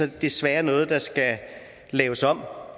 det desværre noget der skal laves om